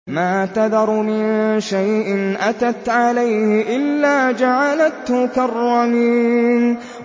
مَا تَذَرُ مِن شَيْءٍ أَتَتْ عَلَيْهِ إِلَّا جَعَلَتْهُ كَالرَّمِيمِ